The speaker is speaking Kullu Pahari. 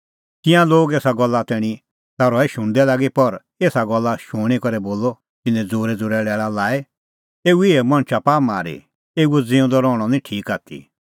तिंयां लोग एसा गल्ला तैणीं ता रहै शुणदै लागी पर एसा गल्ला शूणीं करै बोलअ तिन्नैं ज़ोरैज़ोरै लैल़ा लाई एऊ इहै मणछा पाआ मारी एऊओ ज़िऊंदअ रहणअ निं ठीक आथी